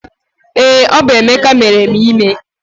Ee, ọ bụ Emeka mere m ime